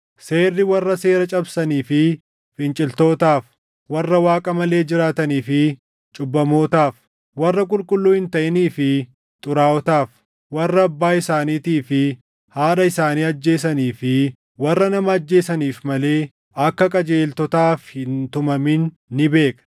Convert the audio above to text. Seerri warra seera cabsanii fi finciltootaaf, warra Waaqa malee jiraatanii fi cubbamootaaf, warra qulqulluu hin taʼinii fi xuraaʼotaaf, warra abbaa isaaniitii fi haadha isaanii ajjeesanii fi warra nama ajjeesaniif malee akka qajeeltotaaf hin tumamin ni beekna;